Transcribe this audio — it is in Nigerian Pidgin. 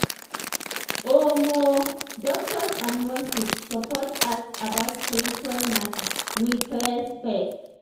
omo! doctors and nurses suppose ask about spiritual matter with respect.